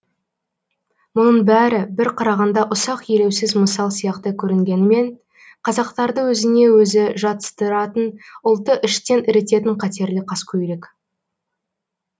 мұның бәрі бір қарағанда ұсақ елеусіз мысал сияқты көрінгенімен қазақтарды өзіне өзін жатыстыратын ұлтты іштен ірітетін қатерлі қаскөйлік